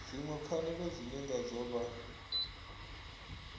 dziṅwe pfanelo dzine ngadzo vha